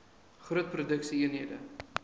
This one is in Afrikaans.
groot produksie eenhede